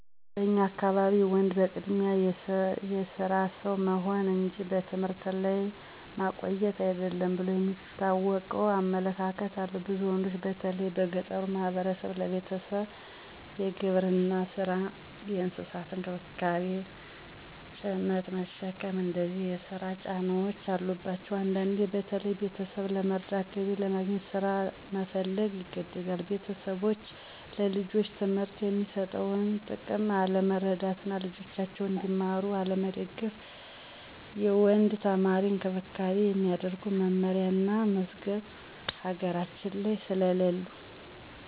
በኛ አካባቢ ወንድ በቅድሚያ የስራ ሰው መሆን እንጂ በትምህርት ላይ ማቆየት አይደለም ብሎ የሚታወቀው አመለካከት አለ። ብዙ ወንዶች በተለይ በገጠሩ ማህበረሰብ ለቤተሰቡ የግብርና ስራ፣ እንስሳት እንክብካቤ፣ ጭነት መሸከም እነዚህ የስራ ጫናዎች አሉባቸዉ። አንዳንዴ በተለይ ቤተሰብን ለመርዳት፣ ገቢ ለማግኘት ስራ መፈለግ ይገደዳሉ። ቤተሰቦች ለልጆች ትምህርት የሚሰጠውን ጥቅም አለመረዳት እና ልጆጃቸዉ እንዲማሩ አለመገፋፋት/አለመደገፍ። የወንድ ተማሪዎችን እንክብካቤ የሚያደርጉ መመሪያ እና መዝገቦች ሀገራችን ላይ ስለለሉ።